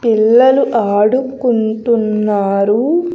పిల్లలు ఆడుకుంటున్నారు.